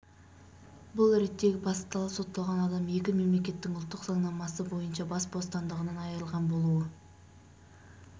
бұл реттегі басты талап сотталған адам екі мемлекеттің ұлттық заңнамасы бойынша бас бостандығынан айырылған болуы